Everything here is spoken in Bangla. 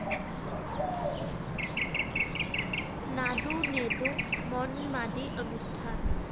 নাদু নেদু মন মাদি অনুষ্ঠান